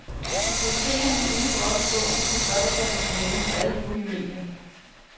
Bibliotekerne må ikke droppe bogen for blot at falde på halen for alle de nye medier.